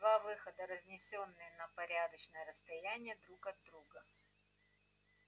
два выхода разнесённые на порядочное расстояние друг от друга